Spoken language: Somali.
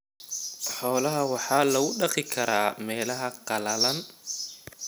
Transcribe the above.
Xoolaha waxaa lagu dhaqi karaa meelaha qallalan.